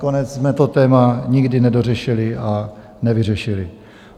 Nakonec jsme to téma nikdy nedořešili a nevyřešili.